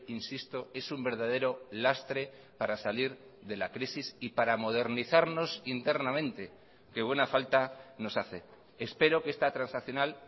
insisto es un verdadero lastre para salir de la crisis y para modernizarnos internamente que buena falta nos hace espero que esta transaccional